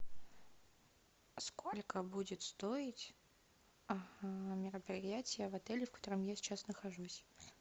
сколько будет стоит мероприятие в отеле в котором я сейчас нахожусь